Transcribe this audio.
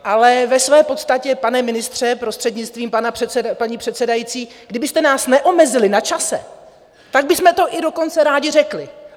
Ale ve své podstatě, pane ministře, prostřednictvím paní předsedající, kdybyste nás neomezili na čase, tak bychom to i dokonce rádi řekli.